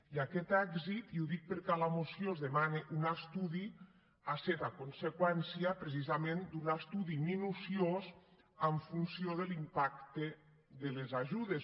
i aquest èxit i ho dic perquè a la moció es demana un estudi ha set a conseqüència precisament d’un estudi minuciós en funció de l’impacte de les ajudes